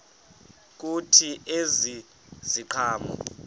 kuthi ezi ziqhamo